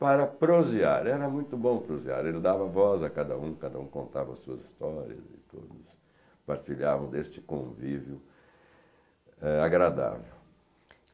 para prosear, era muito bom prosear, ele dava voz a cada um, cada um contava suas histórias, todos partilhavam deste convívio, eh, agradável.